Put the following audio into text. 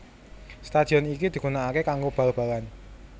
Stadion iki digunakake kanggo bal balan